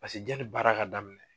Paseke ja ni baara ka daminɛ